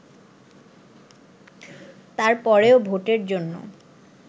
তারপরেও ভোটের জন্য